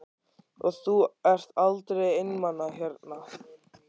Og þú ert aldrei einmana hérna?